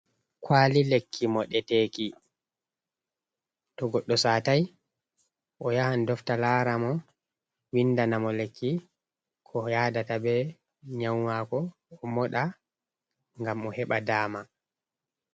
Kaali lekki moɗeteeki to goɗɗo satay o yahan dofta laara mo winndana mo lekki ko yadata be nyaawu maako o moɗa ngam o heɓa daama.